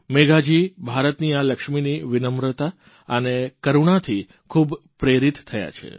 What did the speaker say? મેઘાજી ભારતની આ લક્ષ્મીની વિનમ્રતા અને કરૂણાથી ખૂબ પ્રેરિત થયાં છે